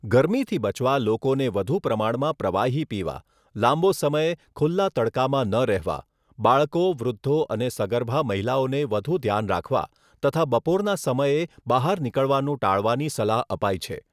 ગરમીથી બચવા લોકોને વધુ પ્રમાણમાં પ્રવાહી પીવા, લાંબો સમય ખુલ્લા તડકામાં ન રહેવા, બાળકો, વૃદ્ધો અને સગર્ભા મહિલાઓને વધુ ધ્યાન રાખવા તથા બપોરના સમયે બહાર નીકળવાનું ટાળવાની સલાહ અપાઈ છે.